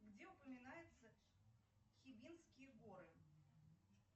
где упоминаются хибинские горы